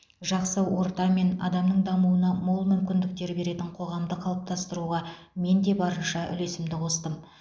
жақсы орта мен адамның дамуына мол мүмкіндіктер беретін қоғамды қалыптастыруға мен де барынша үлесімді қостым